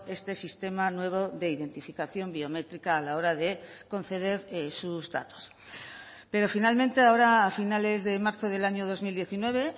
este sistema nuevo de identificación biométrica a la hora de conceder sus datos pero finalmente ahora a finales de marzo del año dos mil diecinueve